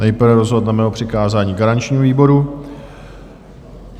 Nejprve rozhodneme o přikázání garančnímu výboru.